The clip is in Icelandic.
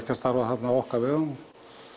að starfa þarna á okkar vegum